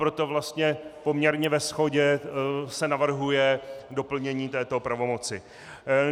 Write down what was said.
Proto vlastně poměrně ve shodě se navrhuje doplnění této pravomoci.